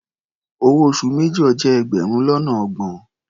Owó oṣù major jẹ́ ẹgbẹrun lọ́nà ọgbọ̀n.